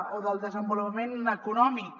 o del desenvolupament econòmic